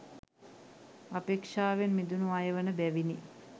අපේක්ෂාවෙන් මිදුණු අය වන බැවිනි.